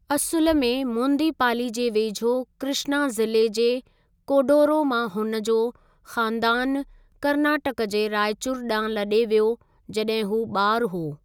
असुलु में मोदींपाली जे वेझो कृष्ना ज़िले जे कोडोरो मां हुन जो ख़ानदानु कर्नाटक जे रायचूर ॾांहुं लॾे वियो जॾहिं हू ॿारु हो।